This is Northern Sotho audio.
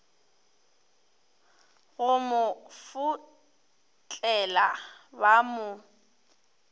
go mo fotlela ba mo